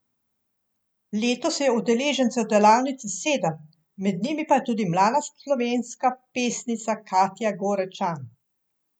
Letos je udeležencev delavnice sedem, med njimi pa je tudi mlada slovenska pesnica Katja Gorečan.